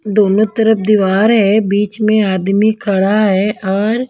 दोनों तरफ दीवार है बीच में आदमी खड़ा है और --